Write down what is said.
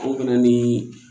O bɛ na ni